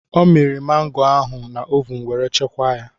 Ọ mịrị mangoo ahụ na ovun were chekwaa ya.